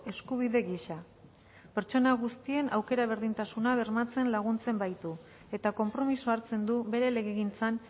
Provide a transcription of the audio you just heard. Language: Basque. eskubide gisa pertsona guztien aukera berdintasuna bermatzen laguntzen baitu eta konpromisoa hartzen du bere legegintzan